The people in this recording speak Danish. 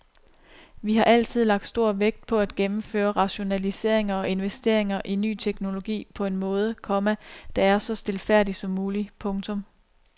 Vi har altid lagt stor vægt på at gennemføre rationaliseringer og investeringer i ny teknologi på en måde, komma der er så stilfærdig som mulig. punktum